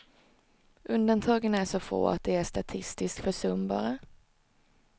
Undantagen är så få att de är statistiskt försumbara.